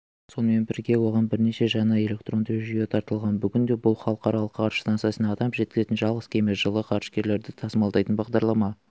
сонымен бірге оған бірнеше жаңа электронды жүйе тартылған бүгінде бұл халықаралық ғарыш станциясына адам жеткізетін жалғыз кеме жылы ғарышкерлерді тасымалдайтын бағдарлама